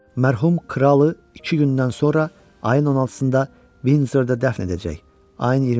Mərhum kralı iki gündən sonra, ayın 16-sında Vindzorda dəfn edəcək.